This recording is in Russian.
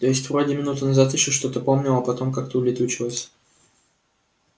то есть вроде минуту назад ещё что-то помнил а потом как-то улетучилось